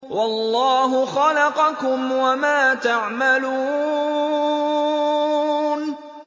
وَاللَّهُ خَلَقَكُمْ وَمَا تَعْمَلُونَ